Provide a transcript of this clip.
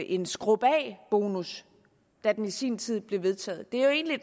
en skrub af bonus da den i sin tid blev vedtaget det er jo egentlig